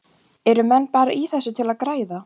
Eru menn bara í þessu til að græða?